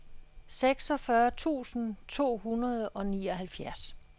seksogfyrre tusind to hundrede og nioghalvfjerds